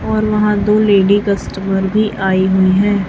और वहां दो लेडी कस्टमर भी आई हुई हैं।